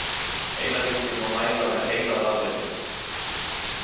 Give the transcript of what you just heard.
Heilabylgjur má mæla með heilarafritun.